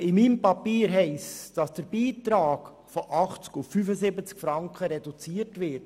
Aber in meinem Papier steht, dass der Beitrag von 80 auf 75 Franken reduziert wird.